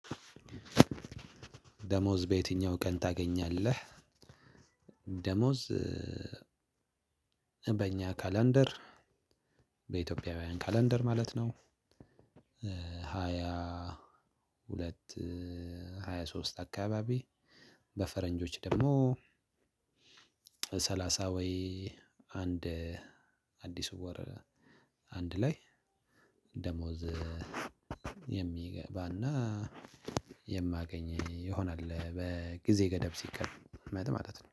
ደሞዝ በየትኛው ቀን ታገኛለህ? ደሞዝ በእኛ ካላንደር በኢትዮጵያውያን ካላንደር ማለት ነው። ሁለት ሃያ ሶስት አካባቢ። በፈረንጆች ደግሞ ሰላሳ ወይ አንድ አዲስ ወር አንድ ላይ። ደሞዝ የሚገባና የማገኝ ይሆናል በጊዜ ገደብ ሲቀርብ ማለት ነው